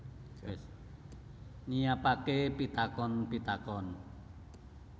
Nyiapake pitakon pitakon